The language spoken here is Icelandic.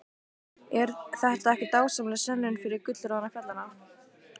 Er þetta ekki dásamleg sönnun fyrir gullroða fjallanna?